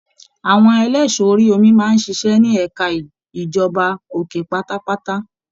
Àwọn ẹlẹṣọ orí omi máa n ṣiṣẹ ní ẹka ìjọba òkè pátápátá.